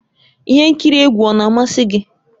Ihe nkiri egwu ọ na-amasị gị?